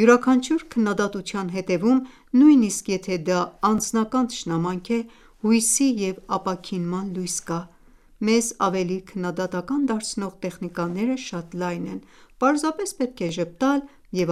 Յուրաքանչյուր քննադատության հետևում, նույնիսկ եթե դա անձնական թշնամանք է, հույսի և ապաքինման լույս կա: Մեզ ավելի քննադատական դարձնող տեխնիկաները շատ լայն են, պարզապես պետք է ժպտալ և